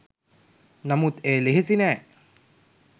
නමුත් එය ලෙහෙසි නෑ